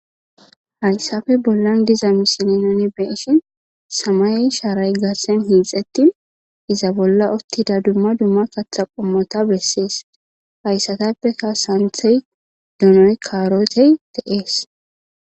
Hayisape bollan diza misilan nu be'ishin samaye sharay garisan hixetini iza bolla utiza duma duma katha qomota beses hayisatape qase santhe donoy karotey de'es